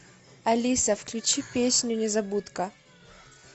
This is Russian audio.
алиса включи песню незабудка